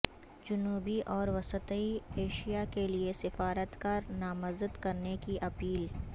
جنوبی اور وسطی ایشیا کیلئے سفارتکار نامزد کرنے کی اپیل